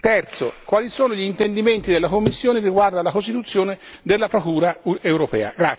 Terzo quali sono le intenzioni della Commissione riguardo alla costituzione della Procura europea?